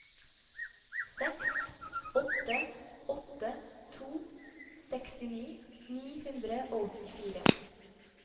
seks åtte åtte to sekstini ni hundre og åttifire